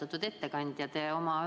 Austatud ettekandja!